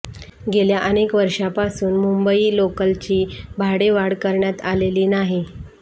गेल्या अनेक वर्षांपासून मुंबई लोकलची भाडेवाढ करण्यात आलेली नाही